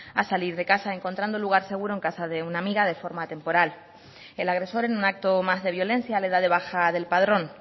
a salir de casa encontrando lugar seguro en casa de una amiga de forma temporal el agresor en un acto más de violencia le da de baja del padrón